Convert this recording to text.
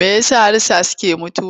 Me ya sa harasa suke mutuwa?